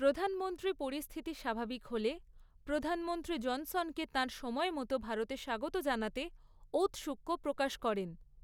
প্রধানমন্ত্রী পরিস্থিতি স্বাভাবিক হলে প্রধানমন্ত্রী জনসনকে তাঁর সময় মতো ভারতে স্বাগত জানাতে ঔত্সুক্য প্রকাশ করেন।